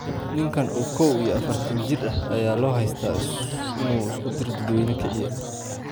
Ninkan oo koow iyo afaartan jir ah ayaa loo haystaa inuu iskudir dadweyne kiciye.